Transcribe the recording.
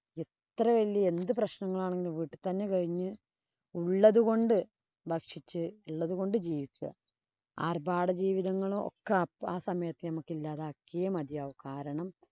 അത്ര വലിയ എന്തു പ്രശ്നങ്ങള്‍ ആണെങ്കിലും വീട്ടില്‍ തന്നെ കഴിഞ്ഞ് ഉള്ളത് കൊണ്ട് ഭക്ഷിച്ച്‌ ഉള്ളത് കൊണ്ട് ജീവിക്കുക. ആര്‍ഭാട ജീവിതങ്ങളൊക്കെ ആ സമയത്ത് നമക്ക് ഇല്ലാതാക്കിയേ മതിയാവു. കാരണം,